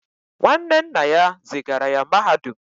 Nwanne nna ya zigara ya mahadum